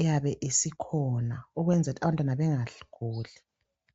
eyabe isikhona ukwenzela ukuthi abantwana bengaguli.